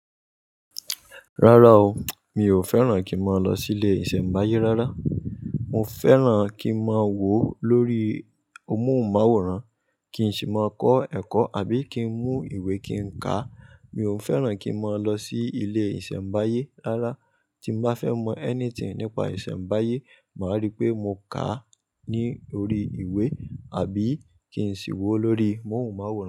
Rárá o, mi ò fẹ́ràn kí n máa lọ sí ilé ìṣẹ̀mbáyé rárá. Mo fẹ́ràn kí n máa wò ó lórí amóhùnmáwòrán, kí n sì máa kọ́ ẹ̀kọ́ àbí kí n mú ìwé kí n ká. Mi ò fẹ́ràn kí n máa lọ sí ilé ìṣẹ̀mbáyé rárá. Tí mo bá fẹ́ mọ anything nípa ìṣẹ̀mbáyé, màá rí pé mo ká a ní orí ìwé àbí kí n sì wò ó lórí amóhùnmáwòrán.